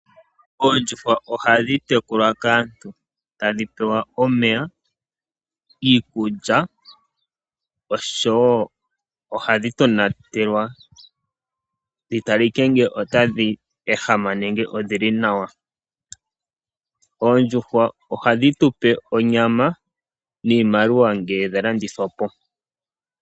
Oondjuhwa ohadhi tekulwa kaantu tadhi pewa omeya, iikulya, osho wo ohadhi tonatelwa dhi talike ngele otadhi ehama nenge odhili nawa. Oondjuhwa ohadhi tu pe onyama niimaliwa ngele dha landithwa po.